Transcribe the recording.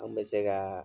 An bɛ se ka